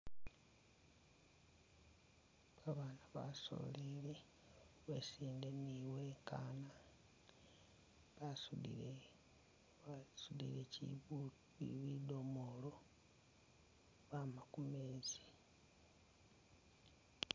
Abana basoleli basinde ni uwekana basudile bidomolo bama kumezi .